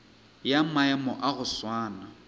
ya maemo a go swana